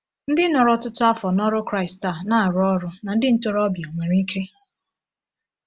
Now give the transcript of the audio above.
Ndị nọrọ ọtụtụ afọ n’ọrụ Kraịst a na-arụ ọrụ na ndị ntorobịa nwere ike.